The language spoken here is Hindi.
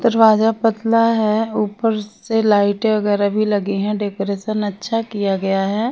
दरवाजा पतला है ऊपर से लाइटें वगैरह भी लगी हैं डेकोरेशन अच्छा किया गया है।